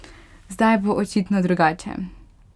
Zdaj bo očitno drugače.